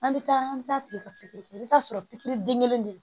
An bɛ taa an bɛ taa tigi ka pikiri kɛ i bɛ taa sɔrɔ pikiri den kelen de do